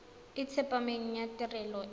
e tsepameng ya tirelo e